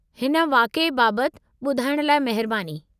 हिन वाक़िए बाबति ॿुधाइणु लाइ महिरबानी।